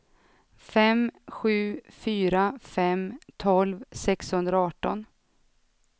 fem sju fyra fem tolv sexhundraarton